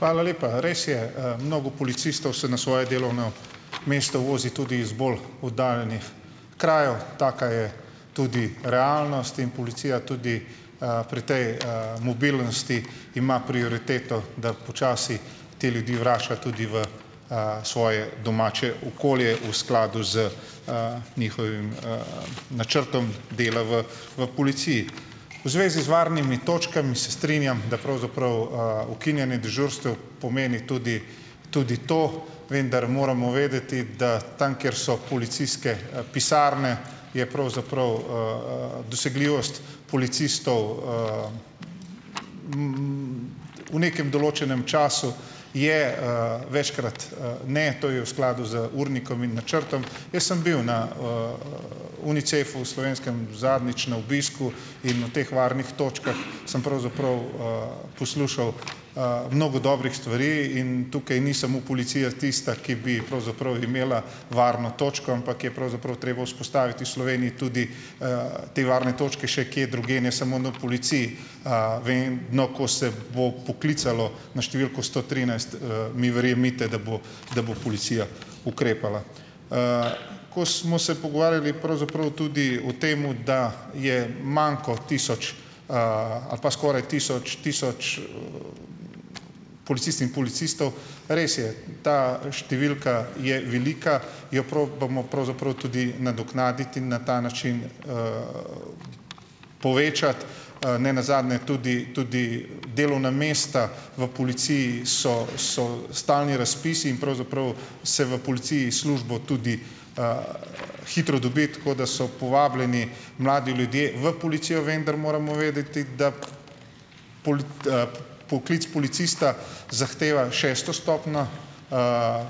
Hvala lepa. Res je, mnogo policistov se na svoje delovno mesto vozi tudi iz bolj oddaljenih krajev. Taka je tudi realnost in policija tudi, pri tej, mobilnosti ima prioriteto, da počasi te ljudi vrača tudi v, svoje domače okolje v skladu z, njihovim, načrtom dela v v policiji. V zvezi z varnimi točkami, se strinjam, da pravzaprav, ukinjanje dežurstev pomeni tudi tudi to. Vendar moramo vedeti, da tam, kjer so policijske, pisarne, je pravzaprav, dosegljivost policistov, v nekem določenem času je, večkrat, ne, to je v skladu z urnikom in načrtom. Jaz sem bil na, Unicefu v slovenskem zadnjič na obisku in o teh varnih točkah sem pravzaprav, poslušal, mnogo dobrih stvari. In tukaj ni samo policija tista, ki bi pravzaprav imela varno točko, ampak je pravzaprav treba vzpostaviti v Sloveniji tudi, te varne točke še kje drugje, ne samo na policiji. Vedno, ko se bo poklicalo na številko sto trinajst, mi verjemite, da bo da bo policija ukrepala. Ko smo se pogovarjali pravzaprav tudi o tem, da je manko tisoč, ali pa skoraj tisoč, tisoč policistk in policistov, res je. Ta številka je velika, jo probamo pravzaprav tudi nadoknaditi in na ta način povečati. Ne nazadnje tudi tudi delovna mesta v policiji so so stalni razpisi in pravzaprav se v policiji službo tudi, hitro dobi. Tako da so povabljeni mladi ljudje v policijo. Vendar moramo vedeti, da poklic policista zahteva šesto stopnjo,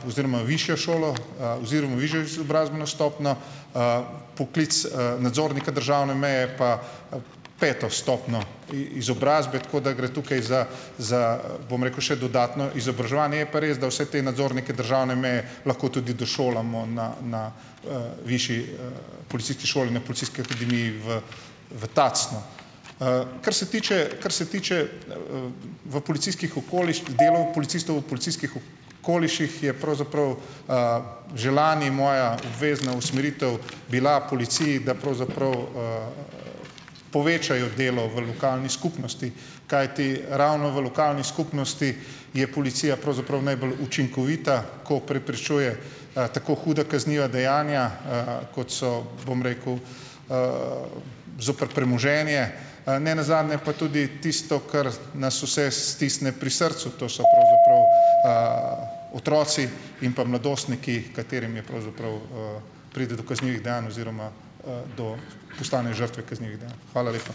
oziroma višjo šolo, oziroma višjo izobrazbeno stopnjo. Poklic nadzornika državne meje pa, peto stopnjo izobrazbe. Tako da gre tukaj za, za, bom rekel, še dodatno izobraževanje. Je pa res, da vse te nadzornike državne meje lahko tudi došolamo na na, višji, policijski šoli, na policijski akademiji v v Tacnu. Kar se tiče, kar se tiče, v policijskih okoliših, dela policistov v policijskih okoliših, je pravzaprav, že lani moja obvezna usmeritev bila policiji, da pravzaprav, povečajo delo v lokalni skupnosti. Kajti, ravno v lokalni skupnosti je policija pravzaprav najbolj učinkovita, ko preprečuje, tako huda kazniva dejanja, kot so, bom rekel, zoper premoženje, ne nazadnje pa tudi tisto, kar nas vse stisne pri srcu, to so pravzaprav, otroci in pa mladostniki, katerim je pravzaprav, pride do kaznivih dejanj oziroma, do postanejo žrtve kaznivih dejanj. Hvala lepa.